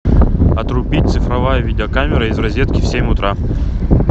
отрубить цифровая видеокамера из розетки в семь утра